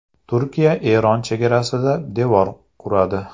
Turkiya Eron chegarasida devor quradi.